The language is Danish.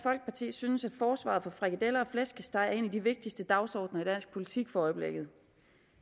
synes at forsvaret for frikadeller og flæskesteg er en af de vigtigste dagsordener i dansk politik for øjeblikket